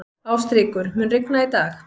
Ástríkur, mun rigna í dag?